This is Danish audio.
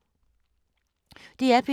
DR P2